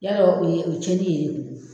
Yalɔ o ye o ye cɛnni yer'e kun.